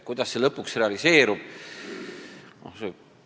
Kuidas see lõpuks realiseerub?